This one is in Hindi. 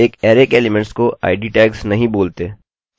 एक अरैarray के एलीमेंट्स को id tagsटैग्स नहीं बोलते